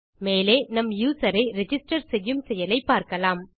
மேலே நம் யூசர் ஐ ரிஜிஸ்டர் செய்யும் செயலை பார்க்கலாம்